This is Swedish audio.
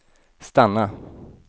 stanna